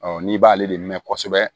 n'i b'ale de mɛn kosɛbɛ